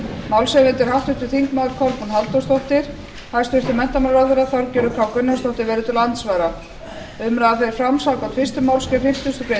málshefjandi er háttvirtir þingmenn kolbrún halldórsdóttir hæstvirtur menntamálaráðherra þorgerður katrín gunnarsdóttir verður til andsvara umræðan fer fram samkvæmt fyrstu málsgrein fimmtugustu grein